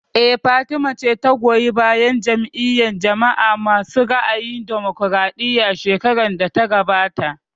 Eh, Fatima ta goyi bayan Jam'iyar jama'a masu ra'ayin damokaraɗiya shekarar da ta gabata